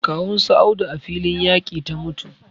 Kawun su Audu a filin yaƙi ta mutu